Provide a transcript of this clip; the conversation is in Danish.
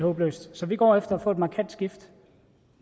så vi går efter at få et markant skifte